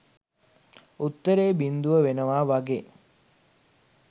උත්තරේ බින්දුව වෙනවා වගේ.